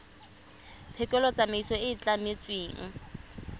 phekolo tsamaiso e e tlametsweng